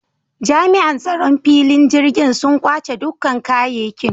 Jami’an tsaron filin jirgin sun kwace dukkan kayekin